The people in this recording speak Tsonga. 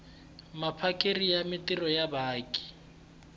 vaphakeri va mintirho ya vaaki